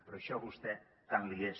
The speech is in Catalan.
però això vostè tant li és